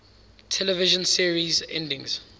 television series endings